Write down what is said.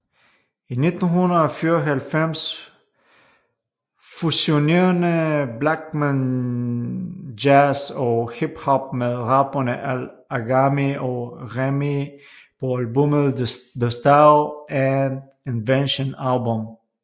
I 1994 fusionerede Blachman jazz og hiphop med rapperne Al Agami og Remee på albummet The Style and Invention Album